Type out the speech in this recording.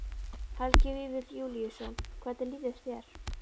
Helgi Vífill Júlíusson: Hvernig líður þér?